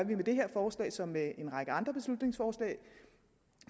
vi med det her forslag som med en række andre beslutningsforslag